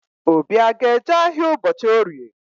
Obi a ga-eje ahịa ụbọchị Orie?